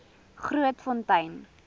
grootfontein